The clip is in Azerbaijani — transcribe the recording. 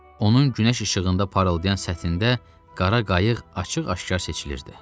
Onun günəş işığında parıldayan səthində qara qayıq açıq-aşkar seçilirdi.